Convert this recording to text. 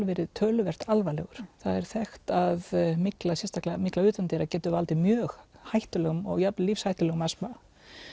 verið töluvert alvarlegur það er þekkt að mygla og sérstaklega mygla utandyra getur valdið mjög hættulegum og jafn vel lífshættulegum astma